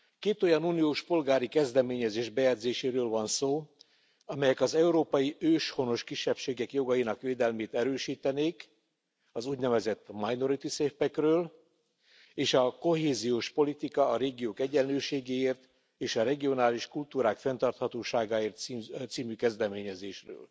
Két olyan uniós polgári kezdeményezés bejegyzéséről van szó, amelyek az európai őshonos kisebbségek jogainak védelmét erősítenék az úgynevezett minority safe pack ről és a Kohéziós politika a régiók egyenlőségéért és a regionális kultúrák fenntarthatóságáért című kezdeményezésről.